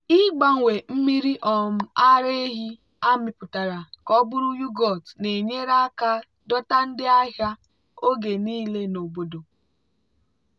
ịgbanwe mmiri um ara ehi amịpụtara ka ọ bụrụ yoghurt na-enyere aka dọta ndị ahịa oge niile n'obodo.